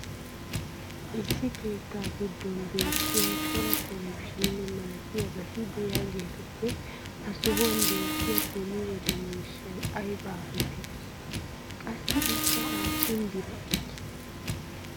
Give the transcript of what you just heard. issi keettaa giddon beetiya cora televizhiine malattiyabati diyaagetuppe ha sohuwan beetiya beni wode miishshay aybba geetettii? qassi ikka aapun biraa ekkii?